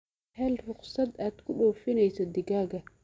Hel ruqsad aad ku dhoofinayso digaagga.